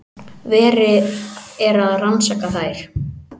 Verið er að rannsaka þær